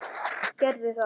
Gerðu það!